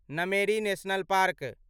Nameri national park